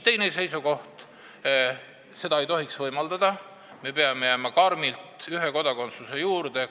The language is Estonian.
Teine seisukoht oli, et seda ei tohiks võimaldada – me peame karmilt ühe kodakondsuse juurde jääma.